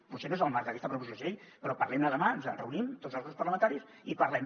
potser no és el marc d’aquesta proposició de llei però parlem ne demà ens reunim tots els grups parlamentaris i parlem